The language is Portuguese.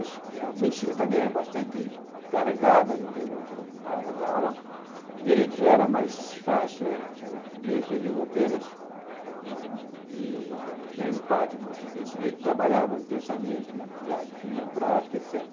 a medicina também era bastante carregada em termos de horas-aula, direito já era mais fácil, era era meio período apenas, e grande parte dos estudantes de direito trabalhavam intensamente, e já adquiriam prática, et cétera.